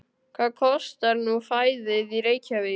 Hvað kostar nú fæðið í Reykjavík?